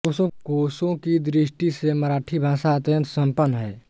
कोशों की दृष्टि से मराठी भाषा अत्यन्त सम्पन्न है